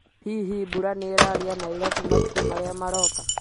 Hihi mbura nĩ ĩrarĩa Nairobi matukũ marĩa maroka?